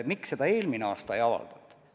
Miks see eelmine aasta ei avaldunud?